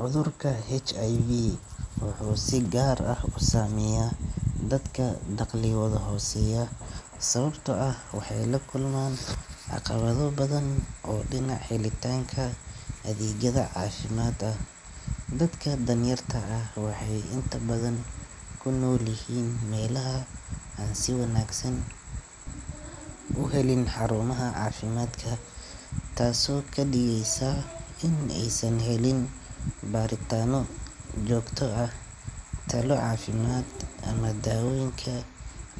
Cudurka HIV wuxuu si gaar ah u saameeyaa dadka dakhligoodu hooseeyo, sababtoo ah waxay la kulmaan caqabado badan oo dhinaca helitaanka adeegyada caafimaad ah. Dadka danyarta ah waxay inta badan ku nool yihiin meelaha aan si wanaagsan u helin xarumaha caafimaadka, taasoo ka dhigeysa in aysan helin baaritaanno joogto ah, talo caafimaad, ama daawooyinka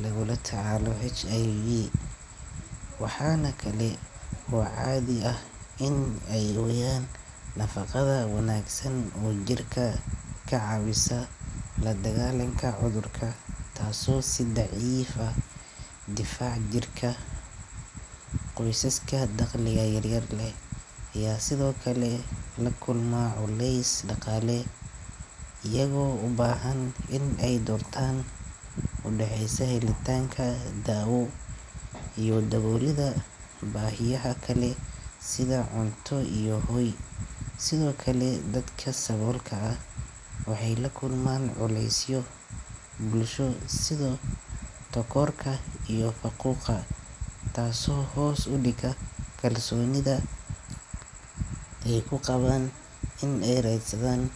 lagula tacaalo HIV. Waxaa kale oo caadi ah in ay waayaan nafaqada wanaagsan oo jirka ka caawisa la dagaallanka cudurka, taasoo sii daciifisa difaaca jirka. Qoysaska dakhliga yar leh ayaa sidoo kale la kulma culays dhaqaale, iyagoo u baahan in ay doortaan u dhaxaysa helitaanka daawo iyo daboolidda baahiyaha kale sida cunto iyo hoy. Sidoo kale, dadka saboolka ah waxay la kulmaan culeysyo bulsho sida takoorka iyo faquuqa, taasoo hoos u dhigta kalsoonida ay ku qabaan in ay raadsadaan.